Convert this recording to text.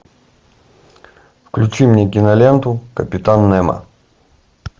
включи мне киноленту капитан немо